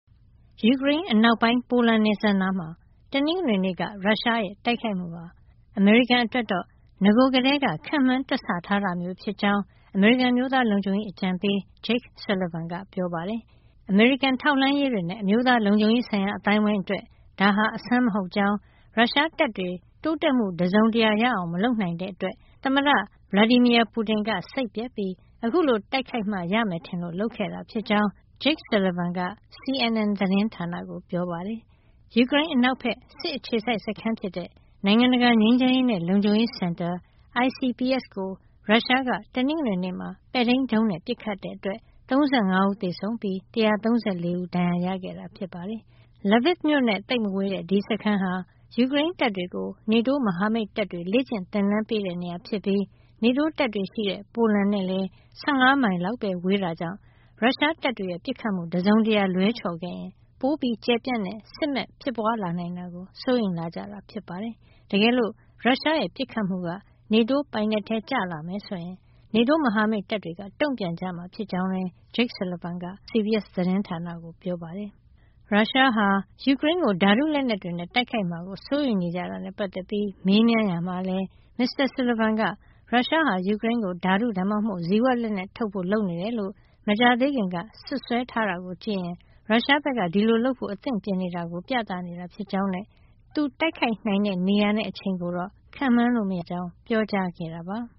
ယူကရိန်းအနောက်ပိုင်း ပိုလန်နယ်စပ်နားမှာ တနင်္ဂနွေနေ့က ရုရှားရဲ့ တိုက်ခိုက်မှုဟာ အမေရိကန်အတွက်တော့ နဂိုကတည်းက ခန့်မှန်းတွက်ဆထားတာမျိုး ဖြစ်ကြောင်း အမေရိကန် အမျိုးသားလုံခြုံရေးအကြံပေး Jake Sullivan က ပြောပါတယ်။ အမေရိကန် ထောက်လှမ်းရေးတွေနဲ့ အမျိုးသားလုံခြုံရေးဆိုင်ရာ အသိုင်းအဝိုင်းအတွက် ဒါဟာ အဆန်းမဟုတ်ကြောင်း၊ ရုရှားတပ်တွေ တိုးတက်မှု တစုံတရာရအောင် မလုပ်နိုင်တဲ့အတွက် သမ္မတ Vladimir Putin က စိတ်ပျက်ပြီး အခုလိုတိုက်မှ ရမယ်ထင်လို့ လုပ်ခဲ့တာဖြစ်ကြောင်း Jake Sullivan က CNN သတင်းဌာနကို ပြောပါတယ်။ ယူကရိန်းအနောက်ဘက် စစ်အခြေစိုက်စခန်းဖြစ်တဲ့ နိုင်ငံတကာ ငြိမ်းချမ်းရေးနဲ့ လုံခြုံရေးစင်တာ (ICPS) ကို ရုရှားက တနင်္ဂနွေနေ့ ပဲ့ထိန်းဒုံးနဲ့ ပစ်ခတ်မှုကြောင့် ၃၅ ဦးသေဆုံးပြီး ၁၃၄ ဦး ဒဏ်ရာရခဲ့တာပါ။ Lviv မြို့နဲ့ သိပ်မဝေးတဲ့ ဒီစခန်းဟာ ယူကရိန်းတပ်တွေကို NATO မဟာမိတ်တပ်တွေက လေ့ကျင့်သင်တန်းပေးတဲ့ နေရာဖြစ်ပြီး NATO တပ်တွေရှိတဲ့ ပိုလန်နဲ့လည်း ၁၅ မိုင်လောက်ပဲ ဝေးတာကြောင့် ရုရှားတပ်တွေရဲ့ ပစ်ခတ်မှု တစုံတရာ လွဲချော်ခဲ့ရင် ပိုကျယ်ပြန့်တဲ့ စစ်မက် ဖြစ်ပွားလာနိုင်တာကို စိုးရိမ်လာကြတာ ဖြစ်ပါတယ်။ တကယ်လို့ ရုရှားပစ်ခတ်မှုက NATO ပိုင်နက်ထဲ ကျလာမယ်ဆိုရင် NATO မဟာမိတ်တွေက တုံ့ပြန်ကြမှာ ဖြစ်ကြောင်းလည်း Jake Sullivan က အမေရိကန် CBS သတင်းဌာနကို ပြောပါတယ်။ ရုရှားက ယူကရိန်းကို ဓာတုလက်နက်တွေနဲ့ တိုက်ခိုက်မှာကို စိုးရိမ်နေကြတာနဲ့ ပတ်သက်ပြီး မေးမြန်းရာမှာလည်း မစ္စတာ Sullivan က ရုရှားဟာ ယူကရိန်းကို ဓာတု ဒါမှမဟုတ် ဇီဝလက်နက် ထုတ်ဖို့ လုပ်နေတယ်လို့ မကြာသေးခင်ကပဲ စွပ်စွဲထားတာကို ကြည့်ရင် ရုရှားဘက်က ဒီလိုလုပ်ဖို့ အသင့်ပြင်နေတာကို ပြနေတာ ဖြစ်ကြောင်းနဲ့ သူတိုက်ခိုက်နိုင်တဲ့ နေရာနဲ့ အချိန်ကိုတော့ ခန့်မှန်းလို့ မရကြောင်းလည်း ပြောခဲ့တာပါ။